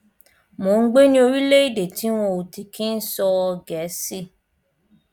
mò ń gbé ní orílẹèdè tí wọn ò ti kí ń sọ gẹẹsì